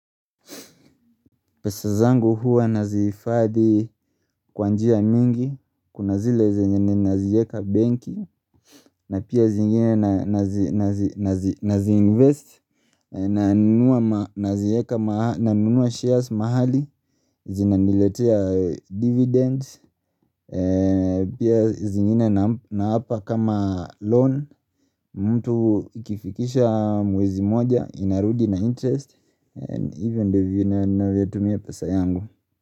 Pesa zangu huwa nazihifadhi kwa njia mingi, kuna zile zenye ninazieka benki, na pia zingine nazi invest, nanunua nanunua shares mahali, zinaniletea dividends, pia zingine na hapa kama loan, mtu ikifikisha mwezi moja, inarudi na interest, and ivyo ndivyo na vyo tumia pesa yangu.